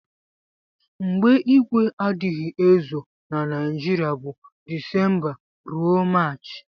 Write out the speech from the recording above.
mgbe igwe adighi ezo na nigiria bu decemba rue marchi.